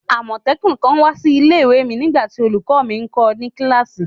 Amotekun kan wa si ile-iwe mi nigbati olukọ mi nkọ ni kilasi